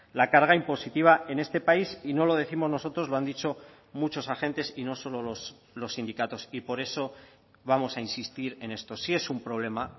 la carga impositiva en este país y no lo décimos nosotros lo han dicho muchos agentes y no solo los sindicatos y por eso vamos a insistir en esto sí es un problema